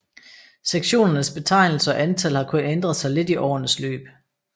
Sektionernes betegnelser og antal har kun ændret sig lidt i årenes løb